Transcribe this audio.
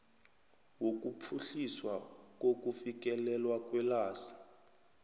wokuphuhliswa kokufikelelwa kwelwazi